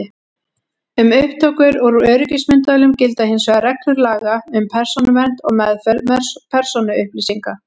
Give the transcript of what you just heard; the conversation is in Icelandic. Um upptökur úr öryggismyndavélum gilda hins vegar reglur laga um persónuvernd og meðferð persónuupplýsinga.